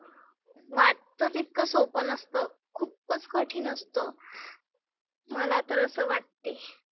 वाटतं तितकं सोप नसतं. खुपच कठीन असतंं. मला तर असे वाटते.